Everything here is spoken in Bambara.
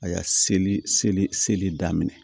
A y'a seli seli seli daminɛ